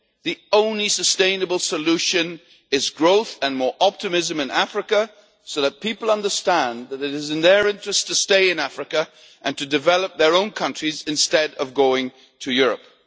The only sustainable solution is growth and more optimism in Africa, so that people understand it is in their interest to stay in Africa and to develop their own countries, instead of going to Europe.